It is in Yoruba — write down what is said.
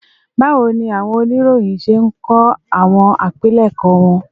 Báwo ni àwọn oníròyìn ṣe ń kọ àwọn àpilẹ̀kọ wọn